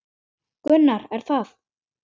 Gunnar: Er það?